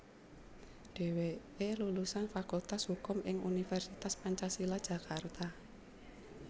Dheweke lulusan Fakultas Hukum ing Universitas Pancasila Jakarta